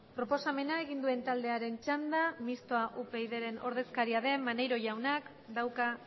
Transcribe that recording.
proposamena egin duen taldearen txanda mistoa upydren ordezkaria den maneiro jaunak dauka